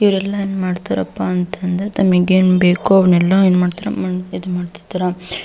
ಇವ್ರೆಲ್ಲ ಏನ್ ಮಾಡ್ತಾರಪ್ಪಾ ಅಂತಂದ್ರ ತಮಿಗೆನ್ ಬೇಕು ಅವ್ನೆಲ್ಲಾ ಏನ್ ಮಾಡ್ತಾರಾ ಇದ್ ಮಾಡ್ತಿರ್ತಾರ.